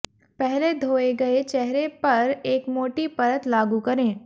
पहले धोए गए चेहरे पर एक मोटी परत लागू करें